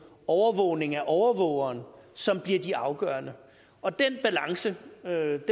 overvågning af overvågeren som bliver de afgørende og den balance